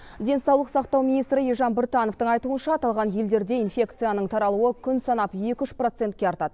денсаулық сақтау министрі елжан біртановтың айтуынша аталған елдерде инфекцияның таралуы күн санап екі үш процентке артады